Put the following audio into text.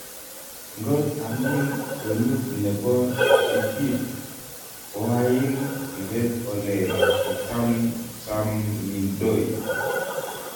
Ngot amin kwenut nebo itit koain ibet ole ichamchamidoi